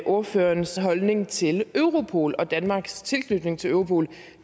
ordførerens holdning til europol og danmarks tilknytning til europol